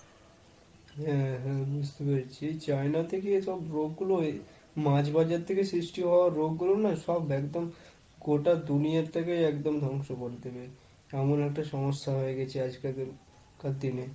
হ্যাঁ হ্যাঁ বুঝতে পেরেছি। China থেকে এসব রোগ গুলো এই মাছ বাজার থেকে সৃষ্টি হওয়া রোগগুলো না সব একদম গোটা দুনিয়াটাকে একদম ধ্বংস করে দেবে। এমন একটা সমস্যা হয়ে গেছে আজকালকার কার দিনে।